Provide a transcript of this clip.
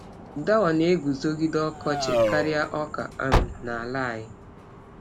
Dawa na-eguzogide ọkọchị karịa ọka um n’ala anyị.